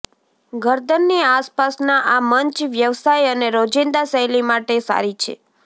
ગરદનની આસપાસના આ મંચ વ્યવસાય અને રોજિંદા શૈલી માટે સારી છે